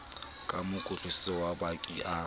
ka mokotlaneng wa baki a